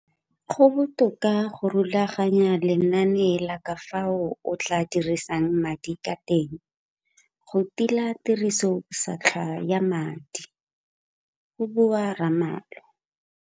Go botoka go rulaganya lenane la ka fao o tla dirisang madi ka teng go tila tirisobotlhaswa ya madi go bua Ramalho.